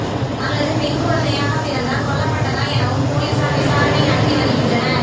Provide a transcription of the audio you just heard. அல்லது பெண் குழந்தையாக பிறந்ததால் கொல்லப்பட்டதா எனவும் போலீசார் விசாரணை நடத்தி வருகின்றனர்